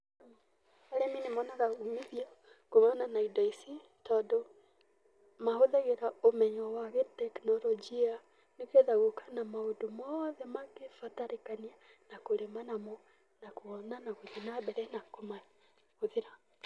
Arĩmi nĩ monaga umithio kumana na indo ici tondũ mahũthagĩra ũmenyo wa gĩtekinoronjia nĩ getha gũka na maũndũ mothe mangĩbatarĩkania na kũrĩma namo na kuona na gũthiĩ na mbere na kũmahũthĩra.